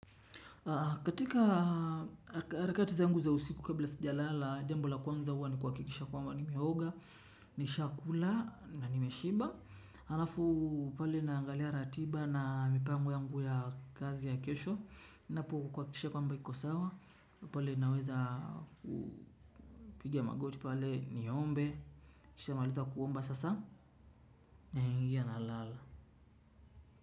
Katika harakati zangu za usiku kabla sijalala, jambo la kwanza huwa ni kuhakikisha kwamba nimeoga. Nishakula na nimeshiba. Halafu pale naangalia ratiba na mipango yangu ya kazi ya kesho, napo kuhakikisha kwamba iko sawa. Pale naweza kupiga magoti pale niombe. Kishamaliza kuomba sasa naingia nalala.